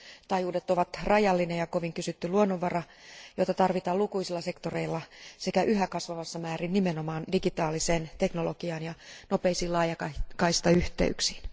Taajuudet ovat rajallinen ja kovin kysytty luonnonvara, joita tarvitaan lukuisilla sektoreilla sekä yhä kasvavassa määrin nimenomaan digitaaliseen teknologiaan ja nopeisiin laajakaistayhteyksiin.